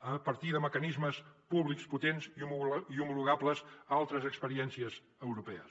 a partir de mecanismes públics potents i homologables a altres experiències europees